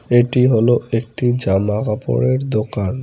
এটি হল একটি জামাকাপড়ের দোকান।